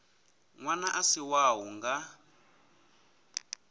ṅwana a si wau nga